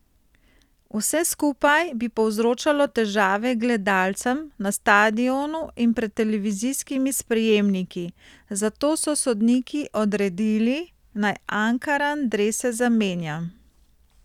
Vse skupaj bi povzročalo težave gledalcem na stadionu in pred televizijskimi sprejemniki, zato so sodniki odredili, naj Ankaran drese zamenja.